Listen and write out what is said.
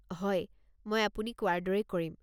হয়, মই আপুনি কোৱাৰ দৰেই কৰিম।